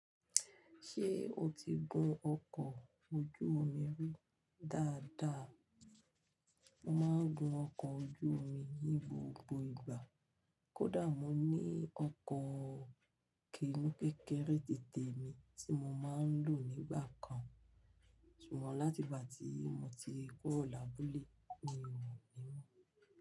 Ṣé o ti gun ọkọ̀ ojú omi rí dáadáa? Mo máa ń gun ọkọ̀ ojú omi ní gbogbo ìgbà. Kódà mo ní ọkọ̀ kini kékeré tẹ̀tè mi tí mo máa ń lò nígbà kan. Ṣùgbọ́n láti ìgbà tí mo ti kúrò lábúlé, mi ò ní mọ̀